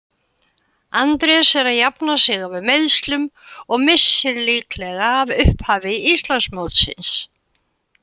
Andrés er að jafna sig af meiðslum og missir líklega af upphafi Íslandsmótsins.